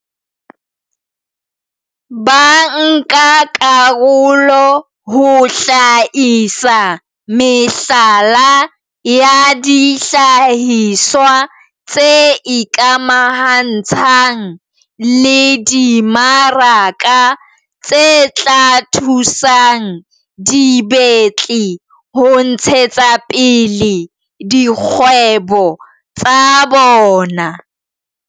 bankakarolo ho hlahisa mehlala ya dihlahiswa tse ikamahantshang le dimaraka tse tla thusang dibetli ho ntshetsapele dikgwebo tsa bona.